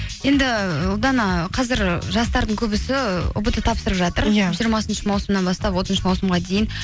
енді ұлдана қазір жастардың көбісі ұбт тапсырып жатыр иә жиырмасыншы маусымнан бастап отызыншы маусымға дейін